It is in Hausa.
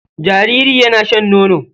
Jariri yana shan nono.